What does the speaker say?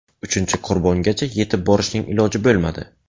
Uchinchi qurbongacha yetib borishning iloji bo‘lmadi.